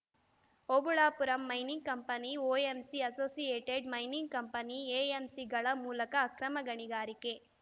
Obulapuram mining company OMC associated mining company ಎಎಂಸಿಗಳ ಮೂಲಕ ಅಕ್ರಮ ಗಣಿಗಾರಿಕೆ